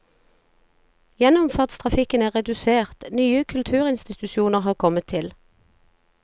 Gjennomfartstrafikken er redusert, nye kulturinstitusjoner har kommet til.